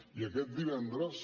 i aquest divendres